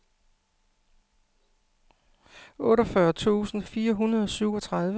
otteogfyrre tusind fire hundrede og syvogtredive